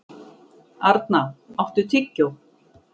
Arna, áttu tyggjó?